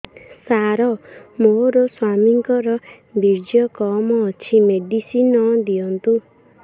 ସାର ମୋର ସ୍ୱାମୀଙ୍କର ବୀର୍ଯ୍ୟ କମ ଅଛି ମେଡିସିନ ଦିଅନ୍ତୁ